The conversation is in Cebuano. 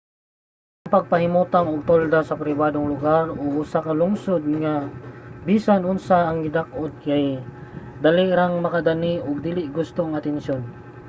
ang pagpahimutang og tolda sa pribadong lugar o sa usa ka lungsod nga bisan unsa ang gidak-on kay dali rang makadani og dili gustong atensiyon